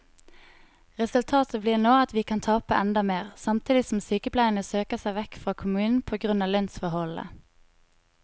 Resultatet blir nå at vi kan tape enda mer, samtidig som sykepleierne søker seg vekk fra kommunen på grunn av lønnsforholdene.